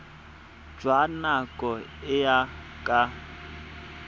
jwa nako e e ka